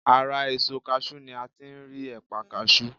Ara èso kaṣú ni a ti ń rí ẹ̀pà kaṣú.